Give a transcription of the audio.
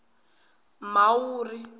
mhawuri